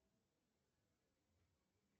джой